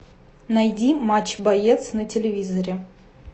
найди матч боец на телевизоре